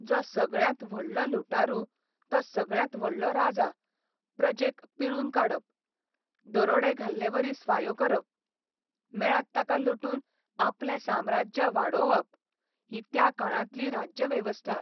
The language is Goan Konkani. जो सगळ्यांत व्हडलो लुटारू तो सगळ्यांत व्हडलो राजा प्रजेक पिळून काडप, दरोडे घाल्लेवरी स्वायो करप, मेळत ताका लुटून आपलें साम्राज्य वाडोवप ही त्या काळांतली राज्यवेवस्था.